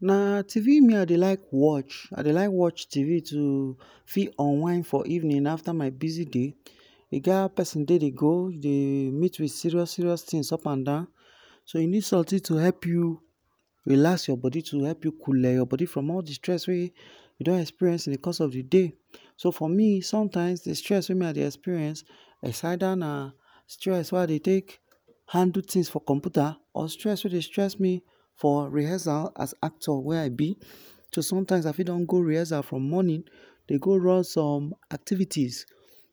Na TV me I dey like watch, I dey like watch TV to fi unwind for evening afta my busy day, e get how persin day dey go he dey meet with serious serious things up and down so hin need something to help u relax your body to help u coole your body from all d stress wey u don experience in d course of d day, so for me sometimes d stress wey me I dey experience, is either na stress wey I dey take handle things for computer or stress wey dey stress me for rehearsal as actor wey I b, so sometimes I fit don go rehearsal from morning dey go run some activities,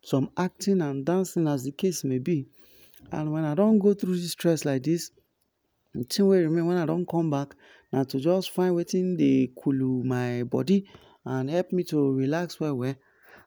some acting and dancing as d case may be, and wen I don go thru dis stress like this, d tin wey remain wen I don come back na to jus find wetin dey coolu my body and help me to relax well well,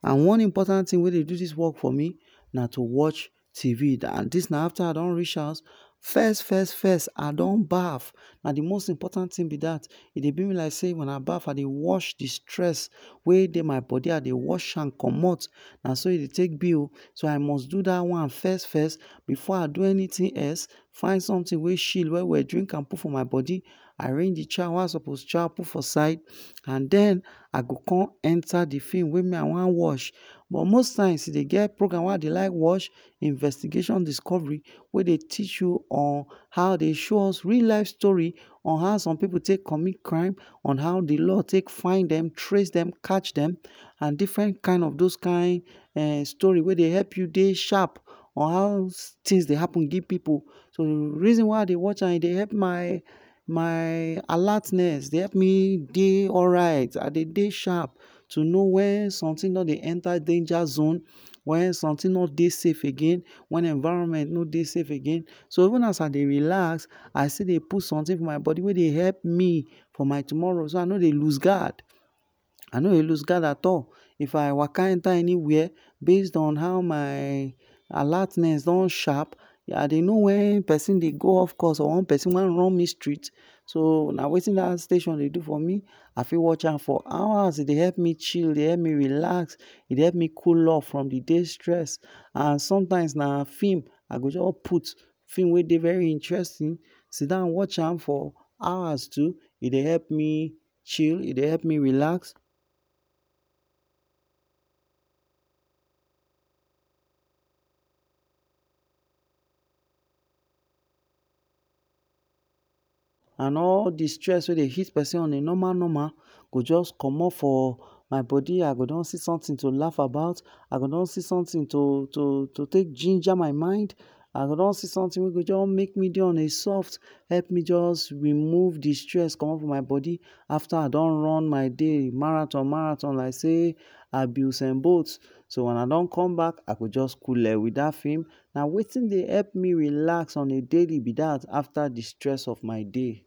and one important thing wey dey do dis work for me na too watch TV, and dis na afta I don reach house, first first first I don baff, na d most important thing b dat, e dey do me like sey wen I baff, I dey wash d stress wey dey my body I dey wash am commot, naso e dey take b o, so I must do dat one first first before I do anything else, find something wey chill well well drink am put for my body, arrange d chow wey I suppose chow put for side, and den I go con enta d film wey me I wan watch, but most times e dey get program wey I like watch, investigation discovery wey dey teach u on, how dey show us real life story on how some pipu take commit crime, on how d law take find dem, trace dem, catch dem and different kind of those kain um story wey dey help u dey sharp on how things dey happen give pipu, reason why I dey watch am e dey help my my alertness, e dey help me dey alright I dey dey sharp to know wen some tin don dey enta danger zone, wen something no dey safe again, wen environment no dey safe again, so even as I dey relax I still dey put sometin for my body wey dey help me for my tomorrow, so I no dey loose guard, I no dey loose guard at all, if I waka enta anywhere based on how my alertness don sharp, I dey know wen persin dey go off course or wen persin wan run me street, so na wetin dat station dey do for me, I fit watch am for hours, e dey help me chill e dey help me relax, e dey help me cool off from d day stress and sometimes na film I go jus put, film wey dey very interesting, sidon watch am for hours too, e dey help me chil e dey help me relax and all d stress wey dy hit persin on a normal normal go jus commot for my body, I go don see something to laff about, I go don see something to to to take ginger my mind, I go don see something wey go jur make me dey on a soft help me just remove de stress commot from my body afta I don run my day marathon marathon like sey I be Usen Bolt so wen I don come back I go just coole with dat film, na wetin dey help me relax on a daily b dat afta d stress of my day